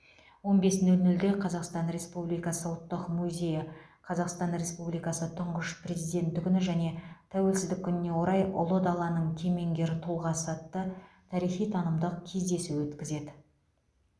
он бес нөл нөлде қазақстан республикасы ұлттық музейі қазақстан республикасы тұңғыш президенті күні және тәуелсіздік күніне орай ұлы даланың кемеңгер тұлғасы атты тарихи танымдық кездесу өткізеді